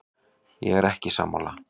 Ég er ekki sammála.